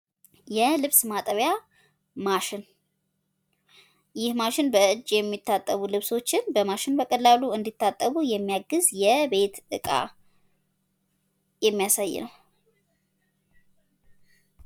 የልብስ ማጠቢያ ማሽን ፡ ይህ ማሽን በ እጅ የሚታጠቡ ልብሶችን በቀላሉ እንዲታጠቡ የሚያግዝ የቤት እቃ ነው።